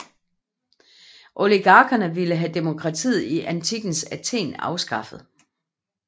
Oligarkerne ville have demokratiet i antikkens Athen afskaffet